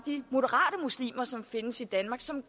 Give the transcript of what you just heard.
moderate muslimer som findes i danmark som